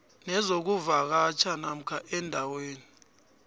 nezokuvakatjha namkha endaweni